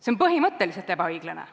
See on põhimõtteliselt ebaõiglane.